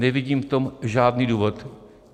Nevidím k tomu žádný důvod.